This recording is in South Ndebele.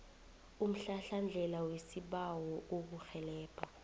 umhlahlandlela wesibawo ukukurhelebha